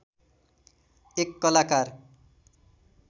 एक कलाकार